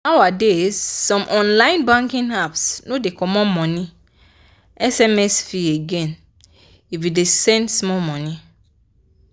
nowadays some online banking apps no dey comot money sms fee again if you dey send small money